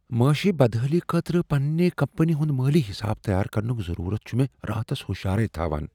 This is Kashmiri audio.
معٲشی بدحٲلی خٲطرٕ پننہ کمپنی ہُند مٲلی حساب تیار کرنک ضروٗرت چھُ مےٚ راتس ہشارے تھاوان۔